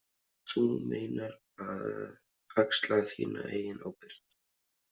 Þú meinar að axla þína eigin ábyrgð.